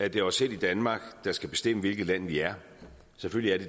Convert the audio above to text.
at det er os selv i danmark der skal bestemme hvilket land vi er selvfølgelig